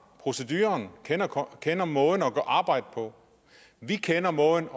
proceduren kender kender måden at arbejde på vi kender måden